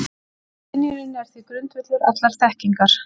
skynjunin er því grundvöllur allrar þekkingar